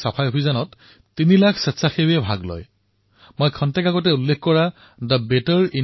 আজি এই কথা মই অতিশয় গৰ্বেৰে ঘোষণা কৰিছোঁ যে সামুহিক প্ৰয়াসৰ ফলত স্বচ্ছ ভাৰত অভিযান এক সফল অভিযান হিচাপে পৰিচিত হৈছে